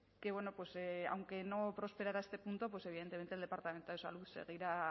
que bueno aunque no prosperara este punto pues evidentemente el departamento de salud seguirá